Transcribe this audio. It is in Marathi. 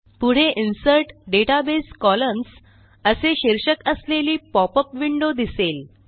पुढे इन्सर्ट डेटाबेस कॉलम्न्स असे शीर्षक असलेली पॉपअप विंडो दिसेल